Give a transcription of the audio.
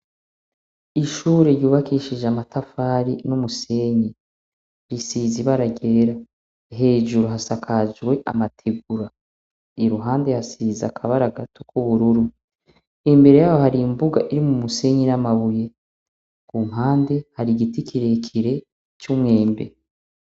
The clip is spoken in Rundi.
Ishure ry' ubakishijw' amatafari n' umusenyi risize ibara ryera, hejuru hasakajw' amatigura, iruhande hasiz' akabara k'ubururu , imbere yaho hari imbuga urimw' umusenyi n' amabuye kumpande har' igiti kirekire c'umwembe.